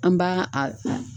An b'a a